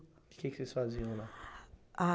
O que que eles faziam lá? Ah